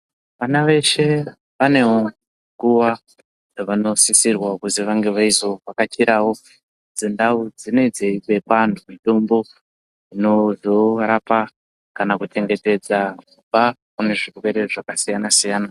Vana veshe vane nguwa yavano sisirwa kuzi vange veizo vhakachirawo dzindau dzinenge dzeipa antu mitombo inozorapa kana kuchengetedza kubva kune zvirwere zvakasiyanasiyana.